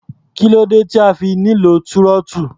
Kí ló dé tí a fi nílò túrọ́tù?